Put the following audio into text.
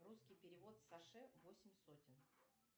русский перевод саше восемь сотен